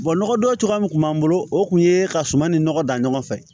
nɔgɔdon cogoya min kun b'an bolo o kun ye ka suman ni nɔgɔ dan ɲɔgɔn fɛ